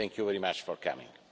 Thank you very much for coming.